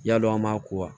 Yadɔn an maa ko wa